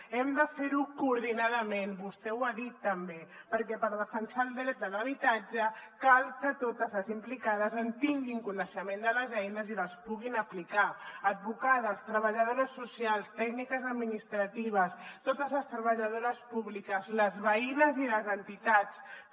hem de fer ho coordinadament vostè ho ha dit també perquè per defensar el dret de l’habitatge cal que totes les implicades en tinguin coneixement de les eines i les puguin aplicar advocades treballadores socials tècniques administratives totes les treballadores públiques les veïnes i les entitats també